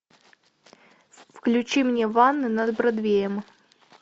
включи мне ванны над бродвеем